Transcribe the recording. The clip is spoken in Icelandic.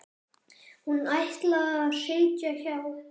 Hún ætlaði að sitja hjá.